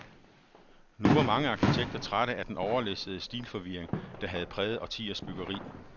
Nu var mange arkitekter trætte af den overlæssede stilforvirring, der havde præget årtiers byggeri.